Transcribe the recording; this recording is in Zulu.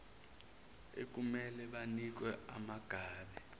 ekumele banikwe umangabe